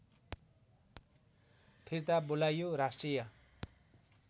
फिर्ता बोलाइयो राष्ट्रिय